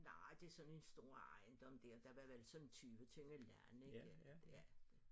Nej det sådan en stor ejendom dér der var vel sådan 20 tønder land ikke ja